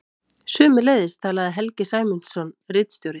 Sömuleiðis talaði Helgi Sæmundsson ritstjóri.